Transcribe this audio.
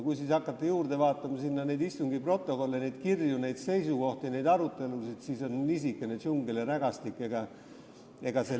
Kui aga hakata juurde vaatama istungite protokolle, kirju, seisukohti ja arutelusid, siis on niisugune džungel ja rägastik.